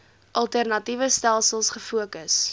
alternatiewe stelsels gefokus